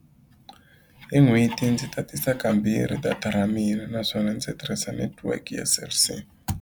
Hi n'hweti ndzi tatisa kambirhi data ra mina naswona ndzi tirhisa netiweke ya Cell C.